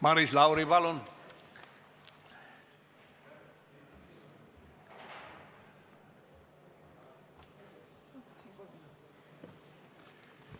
Maris Lauri, palun!